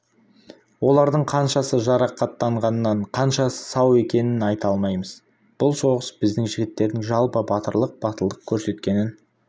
олардың қаншасы жарақаттанғанын қаншасы сау екенін айта алмаймыз бұл соғыс біздің жігіттердің жалпы батырлық батылдық көрсеткенінің